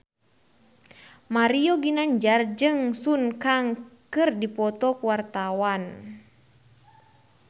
Mario Ginanjar jeung Sun Kang keur dipoto ku wartawan